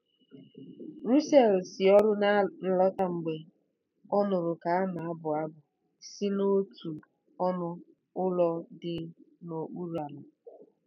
Russell si ọrụ na-alọta mgbe ọ nụrụ ka a na-abụ abụ si n’otu ọnụ ụlọ dị n’okpuru ala.